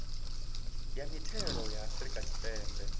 ya mithelo ya afrika tshipembe